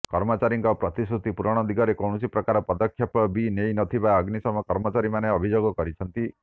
କର୍ମଚାରୀଙ୍କ ପ୍ରତିଶ୍ରୁତି ପୂରଣ ଦିଗରେ କୌଣସି ପ୍ରକାର ପଦକ୍ଷେପ ବି ନେଇନଥିବା ଅଗ୍ନିଶମ କର୍ମଚାରୀମାନେ ଅଭିଯୋଗ କରିଛନ୍ତି